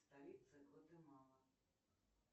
столица гватемала